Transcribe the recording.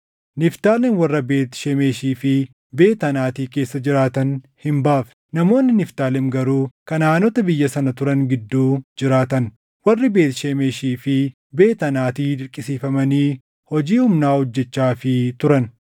Niftaalem warra Beet Shemeshii fi Beet Anaati keessa jiraatan hin baafne; namoonni Niftaalem garuu Kanaʼaanota biyya sana turan gidduu jiraatan; warri Beet Shemeshii fi Beet Anaati dirqamsiifamanii hojii humnaa hojjechaafii turan.